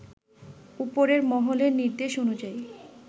উপরের মহলের নির্দেশ অনুযায়ী